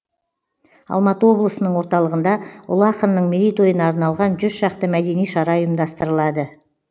алматы облысының орталығында ұлы ақынның мерейтойына арналған жүз шақты мәдени шара ұйымдастырылады